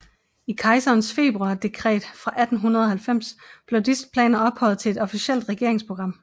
I kejserens februardekret fra 1890 blev disse planer ophøjet til et officielt regeringsprogram